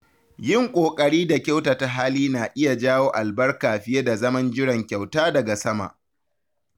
Yin ƙoƙari da kyautata hali na iya jawo albarka fiye da zaman jiran kyauta daga sama.